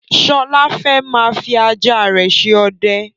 Sọlá fẹ́ máa fi ajá rẹ ṣe ọdẹ